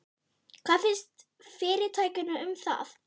Þór: Hvað finnst fyrirtækinu um það?